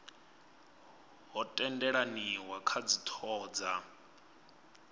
ho tendelaniwa kha dzithoho dza